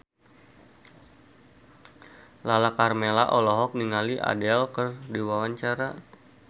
Lala Karmela olohok ningali Adele keur diwawancara